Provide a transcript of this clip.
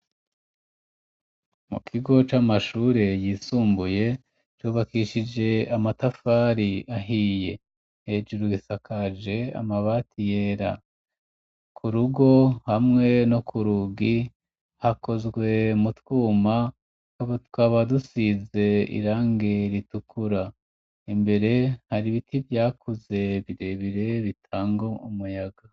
Mu kigo c'amashure, yisumbuye, cubakishije amatafari ahiye; hejuru gisakaje, amabati yera; ku rugo, hamwe no ku rugi, hakozwe mu twuma, tukaba dusize, irangi ritukura; imbere hari ibiti vyakuze, birebire, bitanga umuyaga.